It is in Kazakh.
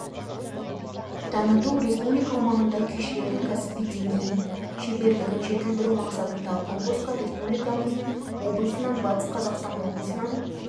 таныту республика аумағында күйшілердің кәсіби деңгейін шеберлігін жетілдіру мақсатындағы конкурсқа республикамыздың облысынан батыс қазақстан облысынан